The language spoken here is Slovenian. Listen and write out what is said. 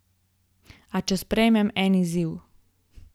A če sprejmem en izziv?